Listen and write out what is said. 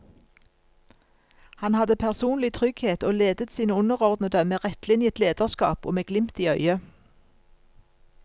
Han hadde personlig trygghet og ledet sine underordnede med rettlinjet lederskap og med glimt i øyet.